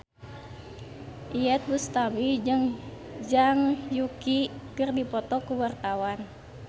Iyeth Bustami jeung Zhang Yuqi keur dipoto ku wartawan